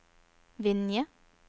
Vinje